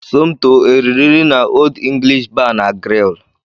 Somto e riri nri n'Old English Bar na Grill?